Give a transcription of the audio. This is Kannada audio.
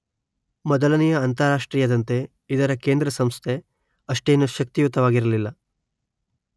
ಮೊದಲನೆಯ ಅಂತಾರಾಷ್ಟ್ರೀಯದಂತೆ ಇದರ ಕೇಂದ್ರ ಸಂಸ್ಥೆ ಅಷ್ಟೇನೂ ಶಕ್ತಿಯುತವಾಗಿರಲಿಲ್ಲ